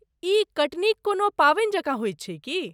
ई कटनीक कोनो पावनि जकाँ होइत छै की?